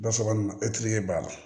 Ba saba nin etiri ye b'a la